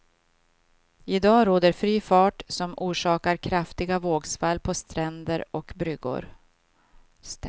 I dag råder fri fart som orsakar kraftiga vågsvall på ständer och bryggor.